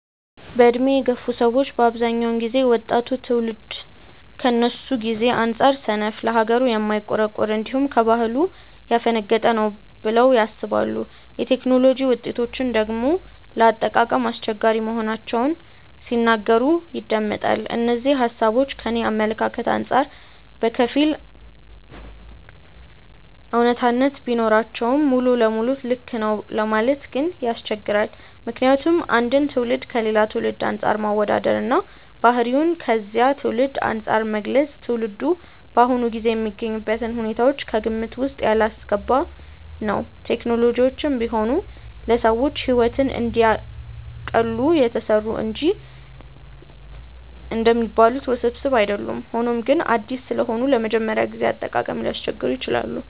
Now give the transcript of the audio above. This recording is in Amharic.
በዕድሜ የገፉ ሰዎች በአብዛኛው ጊዜ ወጣቱ ትውልድ ከነሱ ጊዜ አንጻር ሰነፍ፣ ለሀገሩ የማይቆረቆር፣ እንዲሁም ከባህሉ ያፈነገጠ ነው ብለው ያስባሉ። የቴክኖሎጂ ውጤቶችን ደግሞ ለአጠቃቀም አስቸጋሪ መሆናቸውን ሲናገሩ ይደመጣል። እነዚህ ሃሳቦች ከኔ አመለካከት አንጻር በከፊል አውነታነት ቢኖራቸውም ሙሉ ለሙሉ ልክ ነው ለማለት ግን ያስቸግራል። ምክንያቱም አንድን ትውልድ ከሌላ ትውልድ አንፃር ማወዳደር እና ባህሪውን ከዚያ ትውልድ አንፃር መግለጽ ትውልዱ በአሁኑ ጊዜ የሚገኝበትን ሁኔታዎች ከግምት ውስጥ ያላስገባ ነው። ቴክኖሎጂዎችም ቢሆኑ ለሰዎች ሕይወትን እንዲያቀሉ የተሰሩ እንጂ እንደሚባሉት ውስብስብ አይደሉም። ሆኖም ግን አዲስ ስለሆኑ ለመጀመሪያ ጊዜ አጠቃቀም ሊያስቸግሩ ይችላሉ።